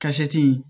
Ka sɛti